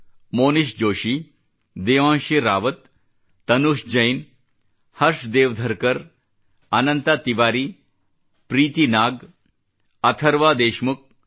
Monish Joshi Devanshi Rawat Tanush Jain Harsh Dev Dharkar Anant Tiwari Preeti Nag Atharva Deshmukh